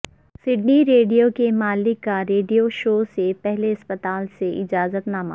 Sydney radio کے مالک کا ریڈیو شو سے پہلے اسپتال سے اجازت نامہ